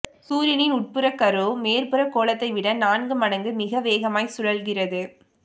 சூரியனின் உட்புறக்கரு மேற்புறக் கோளத்தை விட நான்கு மடங்கு மிக வேகமாய்ச் சுழல்கிறது